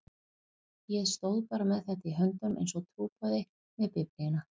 Ég stóð bara með þetta í höndunum einsog trúboði með Biblíuna.